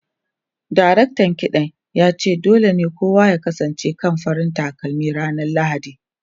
Daraktan kiɗan ya ce dole ne kowa ya kasance akan farar takalmi ranar Lahadi.